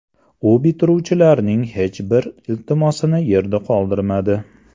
U bitiruvchilarning hech bir iltimosini yerda qoldirmadi.